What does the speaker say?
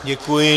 Děkuji.